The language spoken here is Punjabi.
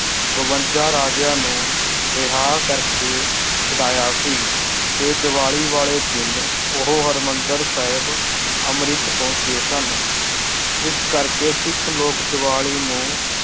ਬਵੰਜਾ ਰਾਜਿਆਂ ਨੂੰ ਰਿਹਾ ਕਰਕੇ ਛਡਾਇਆ ਸੀ ਤੇ ਦੀਵਾਲੀ ਵਾਲੇ ਦਿਨ ਉਹ ਹਰਿਮੰਦਰ ਸਾਹਿਬ ਅੰਮ੍ਰਿਤ ਪਹੁੰਚੇ ਸਨ ਇਸ ਕਰਕੇ ਸਿੱਖ ਲੋਕ ਦੀਵਾਲੀ ਨੂੰ